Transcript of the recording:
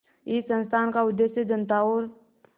इस संस्थान का उद्देश्य जनता और